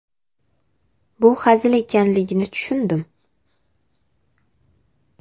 Bu hazil ekanligini tushundim.